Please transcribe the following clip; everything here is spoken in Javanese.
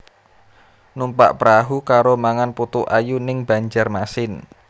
Numpak prahu karo mangan putu ayu ning Banjarmasin